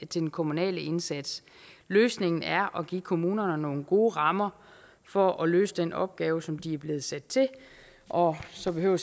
den kommunale indsats løsningen er at give kommunerne nogle gode rammer for at løse den opgave som de er blevet sat til og så behøver